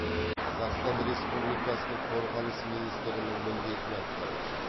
қазақстан республикасының қорғаныс министрінің міндетін атқарушы